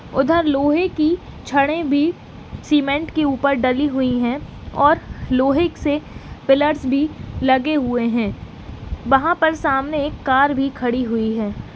उधर लोहे की छड़े भी सीमेंट के ऊपर डली हुई हैं और लोहे से पिलर्स भी लगे हुए हैं। वहां पर सामने एक कार भी खड़ी हुई है।